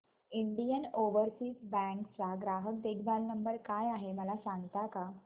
Indian Overseas bank चा ग्राहक देखभाल नंबर काय आहे मला सांगता का